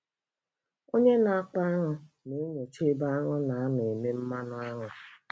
Onye na-akpa aṅụ na-enyocha ebe anụ na-anọ eme mmanụ aṅụ.